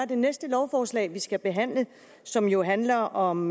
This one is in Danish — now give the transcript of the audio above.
det næste lovforslag vi skal behandle som jo handler om